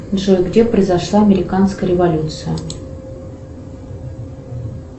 джой где произошла американская революция